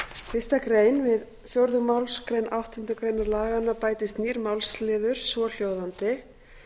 fyrstu grein við fjórðu málsgrein áttundu grein laganna bætist nýr málsliður svohljóðandi